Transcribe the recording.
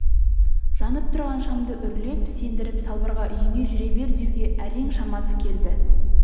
жанып тұрған шамды үрлеп сендіріп салбырға үйіңе жүре бер деуге әрең шамасы келді